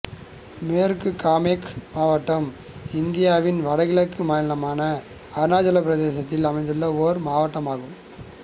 மேற்கு காமெங் மாவட்டம் இந்தியாவின் வடகிழக்கு மாநிலமான அருணாசலப் பிரதேசத்தில் அமைந்துள்ள ஒரு மாவட்டமாகும்